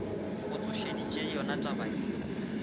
go tsošeditše yona taba yeo